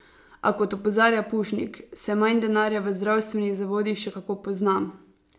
A, kot opozarja Pušnik, se manj denarja v zdravstvenih zavodih še kako pozna.